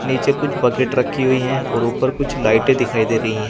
नीचे कुछ बकेट रखी हुई है और ऊपर कुछ लाइटें दिखाई दे रही है।